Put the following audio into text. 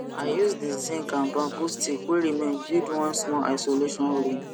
i use d zinc and bamboo stick wey remain build one small isolation room